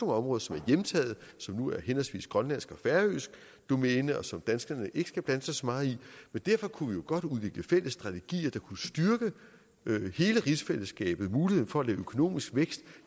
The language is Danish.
områder som er hjemtaget som nu er henholdsvis grønlandsk og færøsk domæne og som danskerne ikke skal blande sig så meget i men derfor kunne godt udvikle fælles strategier der kunne styrke hele rigsfællesskabet muligheden for at økonomisk vækst